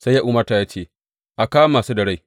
Sai ya umarta ya ce, A kama su da rai!